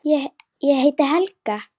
Ég heiti Helga!